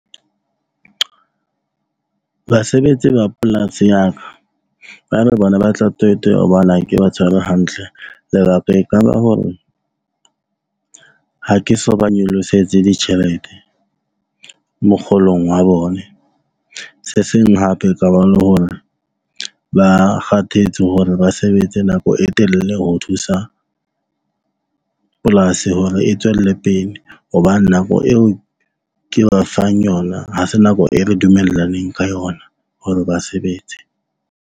Basebetsi ba polasi ya ka ba re bona ba hobane ha ke ba tshware hantle. Lebaka e kaba hore ha ke so ba nyolosetse ditjhelete mokgolong wa bone se seng hape e kaba le hore ba kgathetse hore ba sebetse nako e telele ho thusa polasi, hore e tswelle pele. Hobane nako eo ke ba fang yona. Ha se nako e re dumellaneng ka yona hore ba sebetse.